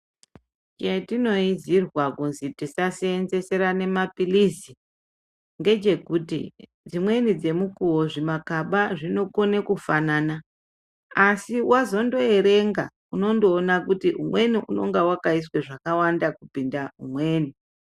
Chetinoizirwa kuti tisaseenzeserana mapilizi ngechekuti, dzimweni dzemukuwo zvimakaba zvinokona kufanana, asi wazondoerenga, unondoona kuti umweni unenga wakaiswa zvakawanda kupinda umweni